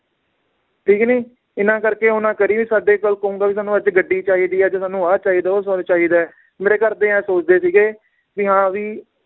ਠੀਕ ਨੀ ਇਹਨਾਂ ਕਰਕੇ ਉਹ ਨਾ ਕਰੀ ਵੀ ਸਾਡੇ ਕੋਲ ਕਹੂੰਗਾ ਵੀ ਸਾਨੂ ਅੱਜ ਗੱਡੀ ਚਾਹੀਦੀ ਏ ਅੱਜ ਸਾਨੂੰ ਆਹ ਚਾਹੀਦਾ ਏ ਉਹ ਚਾਹੀਦਾ ਏ ਮੇਰੇ ਘਰਦੇ ਐਹ ਸੋਚਦੇ ਸੀਗੇ ਵੀ ਹਾਂ ਵੀ